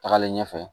Tagalen ɲɛfɛ